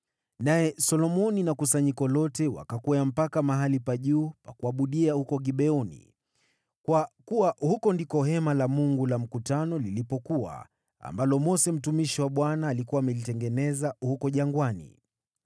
Naye Solomoni na kusanyiko lote wakakwea mpaka mahali pa juu pa kuabudia huko Gibeoni, kwa kuwa huko ndiko Hema la Kukutania la Mungu lilipokuwa, ambalo Mose mtumishi wa Bwana alikuwa amelitengeneza huko jangwani.